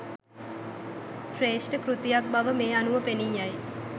ශ්‍රේෂ්ඨ කෘතියක් බව මේ අනුව පෙනීයයි.